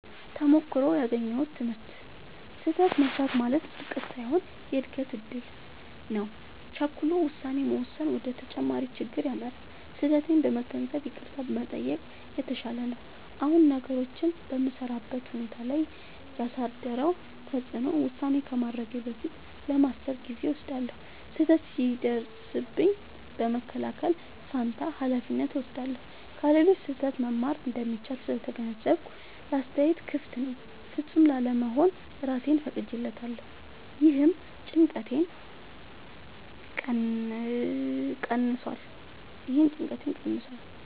ተሞክሮው ያገኘሁት ትምህርት፦ · ስህተት መሥራት ማለት ውድቀት ሳይሆን የእድገት እድል ነው። · ቸኩሎ ውሳኔ መወሰን ወደ ተጨማሪ ችግር ይመራል። · ስህተቴን በመገንዘብ ይቅርታ መጠየቅ የተሻለ ነው። አሁን ነገሮችን በምሠራበት ሁኔታ ላይ ያሳደረው ተጽዕኖ፦ · ውሳኔ ከማድረጌ በፊት ለማሰብ ጊዜ እወስዳለሁ። · ስህተት ሲደርስብኝ በመከላከል ፋንታ ኃላፊነት እወስዳለሁ። · ከሌሎች ስህተት መማር እንደሚቻል ስለተገነዘብኩ ለአስተያየት ክፍት ነኝ። · ፍጹም ላለመሆን እራሴን ፈቅጄለታለሁ — ይህም ጭንቀቴን ቀንሷል።